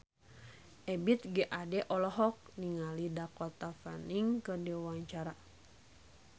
Ebith G. Ade olohok ningali Dakota Fanning keur diwawancara